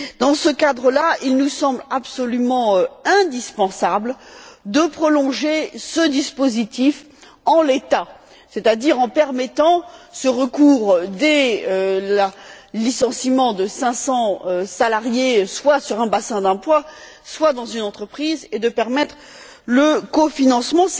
Dans ce cadre là, il nous semble absolument indispensable de prolonger ce dispositif en l'état, c'est à dire en permettant ce recours dans le cas de licenciements de 500 salariés, soit dans un bassin d'emplois, soit dans une entreprise, et de permettre le cofinancement.